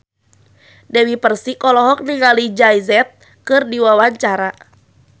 Dewi Persik olohok ningali Jay Z keur diwawancara